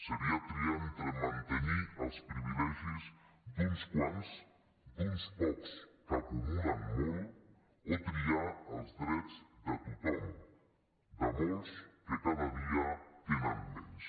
seria triar entre mantenir els privilegis d’uns quants d’uns pocs que acumulen molt o triar els drets de tothom de molts que cada dia tenen menys